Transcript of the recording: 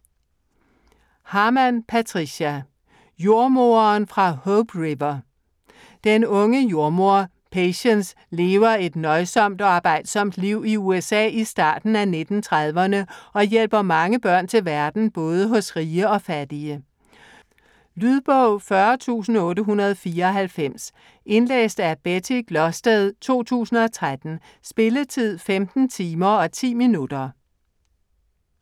Harman, Patricia: Jordemoderen fra Hope River Den unge jordemoder Patience lever et nøjsomt og arbejdsomt liv i USA i starten af 1930'erne og hjælper mange børn til verden både hos rige og fattige. Lydbog 40894 Indlæst af Betty Glosted, 2013. Spilletid: 15 timer, 10 minutter.